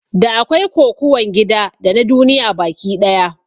Da akwai Kokuwan gida dana duniya baki ɗaya